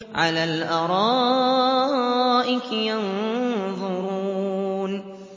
عَلَى الْأَرَائِكِ يَنظُرُونَ